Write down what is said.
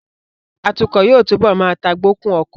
Atukọ̀ yóò túbọ̀ má tagbokun ọkọ